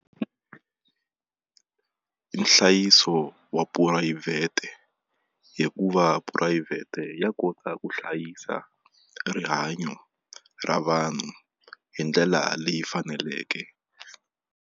Nhlayiso wa phurayivhete hikuva phurayivhete ya kota ku hlayisa rihanyo ra vanhu hi ndlela leyi faneleke.